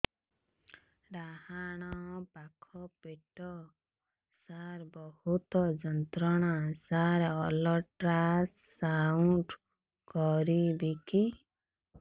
ଡାହାଣ ପାଖ ପେଟ ସାର ବହୁତ ଯନ୍ତ୍ରଣା ସାର ଅଲଟ୍ରାସାଉଣ୍ଡ କରିବି କି